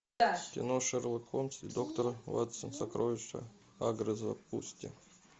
кино шерлок холмс и доктор ватсон сокровища агры запусти